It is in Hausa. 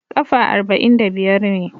Kafa arba'in da biyar ne.